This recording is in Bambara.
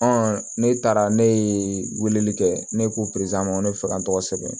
ne taara ne ye weleli kɛ ne ko ne bɛ fɛ ka n tɔgɔ sɛbɛn